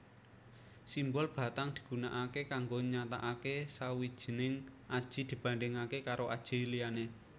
Simbol batang digunakaké kanggo nyatakake sawijining aji dibandingake karo aji liyané